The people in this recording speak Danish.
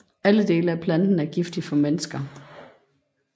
Alle dele af planten er giftig for mennesker